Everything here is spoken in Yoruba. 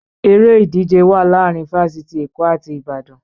Eré ìdíje wà láàárín fáfítì Èkó àti Ìbàdàn